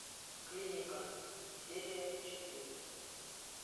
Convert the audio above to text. клиника серия четыре